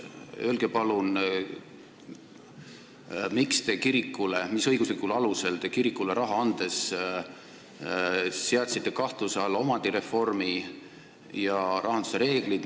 Öelge palun, mis õiguslikul alusel te kirikule raha andes seadsite kahtluse alla omandireformi ja rahanduse reeglid.